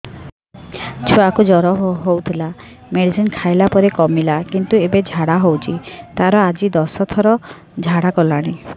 ଛୁଆ କୁ ଜର ହଉଥିଲା ମେଡିସିନ ଖାଇଲା ପରେ କମିଲା କିନ୍ତୁ ଏବେ ଝାଡା ହଉଚି ତାର ଆଜି ଦଶ ଥର ଝାଡା କଲାଣି